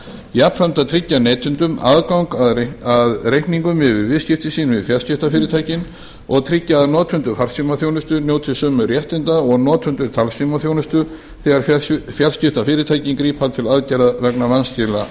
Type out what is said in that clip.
jafnframt að tryggja neytendum aðgang að reikningum yfir viðskipti sín við fjarskiptafyrirtækin og tryggja að notendur farsímaþjónustu njóti sömu réttinda og notendur talsímaþjónustu þegar fjarskiptafyrirtækin grípa til aðgerða vegna vanskila